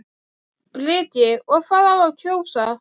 Breki: Og hvað á að kjósa?